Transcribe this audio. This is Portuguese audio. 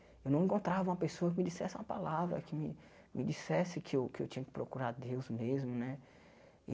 Eu não encontrava uma pessoa que me dissesse uma palavra, que me dissesse que eu que eu tinha que procurar a Deus mesmo, né?